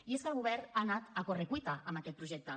i és que el govern ha anat a correcuita amb aquest projecte